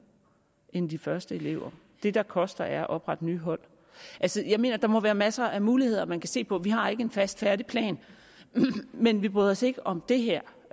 end de første elever det der koster er at oprette nye hold jeg mener at der må være masser af muligheder man kan se på vi har ikke en fast færdig plan men vi bryder os ikke om det her